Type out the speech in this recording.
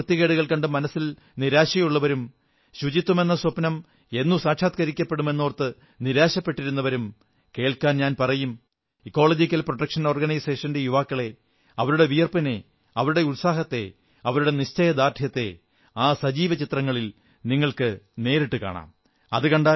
ചുറ്റുപാടുമുള്ള വൃത്തികേടുകൾ കണ്ട് മനസ്സിൽ നിരാശയുള്ളവരും ശുചിത്വമെന്ന സ്വപ്നം എന്നു സാക്ഷാത്കരിക്കപ്പെടും എന്നോർത്ത് നിരാശപ്പെട്ടിരുന്നവരും കേൾക്കാൻ ഞാൻ പറയും ഇക്കോളജിക്കൽ പ്രൊട്ടക്ഷൻ ഓർഗനൈസേഷന്റെ യുവാക്കളെ അവരുടെ വിയർപ്പിനെ അവരുടെ ഉത്സാഹത്തെ അവരുടെ ദൃഢനിശ്ചയത്തെ ആ സജീവ ചിത്രങ്ങളിൽ നിങ്ങൾക്കു നേരിട്ടു കാണാം